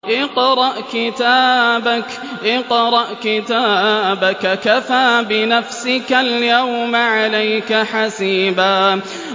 اقْرَأْ كِتَابَكَ كَفَىٰ بِنَفْسِكَ الْيَوْمَ عَلَيْكَ حَسِيبًا